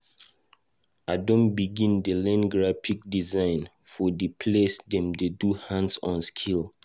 I don begin dey learn graphic design for di place dem dey do hands-on skills.